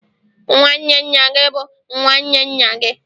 nwanne nna gị bụ nwanne nna gị